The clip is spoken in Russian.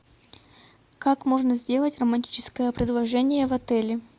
как можно сделать романтическое предложение в отеле